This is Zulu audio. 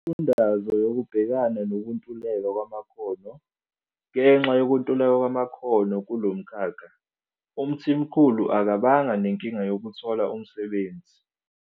Imifundaze yokubhekana nokuntuleka kwamakhono. Ngenxa yokuntuleka kwamakhono kulo mkhakha, uMthimkhulu akabanga nenkinga yokuthola umsebenzi.